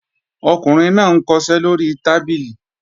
Ọkùnrin náà ń kọṣẹ́ lóri tábìlì